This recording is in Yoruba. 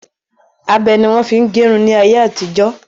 Abẹ ni wọn fi ń gẹrun ni ayé àtijọ́